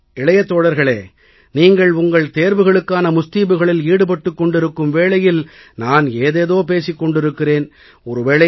சரி இளைய தோழர்களே நீங்கள் உங்கள் தேர்வுகளுக்கான ஏற்பாடுகளில் ஈடுபட்டுக் கொண்டிருக்கும் வேளையில் நான் ஏதேதோ பேசிக் கொண்டிருக்கிறேன்